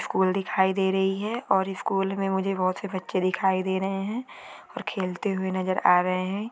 School दिखाई दे रही है और इस स्कूल मे मुझे बहोत से बच्चे दिखाई दे रहे है और खेलते हुए नज़र आ रहे है।